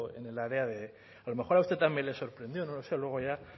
en el área de a lo mejor a usted también le sorprendió no lo sé luego ya